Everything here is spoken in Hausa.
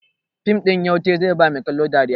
Fim ɗin Yautai zai ba mai kallo dariya.